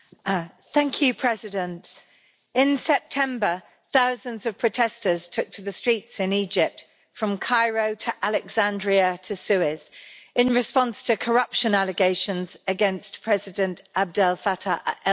Mr President, in September thousands of protesters took to the streets in Egypt from Cairo to Alexandria to Suez in response to corruption allegations against President Abdel Fattah el Sisi.